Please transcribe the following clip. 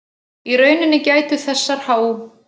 Í rauninni gætu þessar há